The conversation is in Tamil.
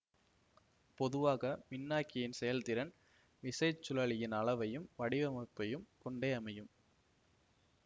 பொதுவாக மின்னாக்கியின் செயல்திறன் விசைச்சுழலியின் அளவையும் வடிவமைப்பையும் கொண்டே அமையும்